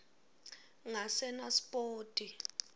ngasenaspoti